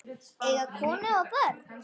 Eiga konu og börn?